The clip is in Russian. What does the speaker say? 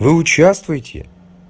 вы участвуете